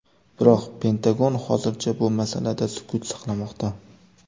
Biroq Pentagon hozircha bu masalada sukut saqlamoqda.